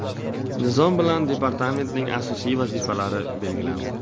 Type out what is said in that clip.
Nizom bilan departamentning asosiy vazifalari belgilandi.